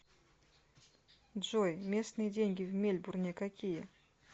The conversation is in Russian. джой местные деньги в мельбурне какие